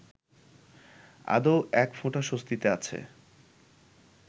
আদৌ একফোঁটা স্বস্তিতে আছে